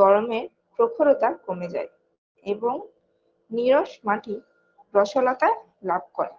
গরমে প্রখরতা কমে যায় এবং নিরস মাটি রসলতা লাভ করে